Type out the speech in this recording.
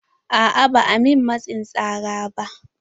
A'a ba a min matsin tsara ba.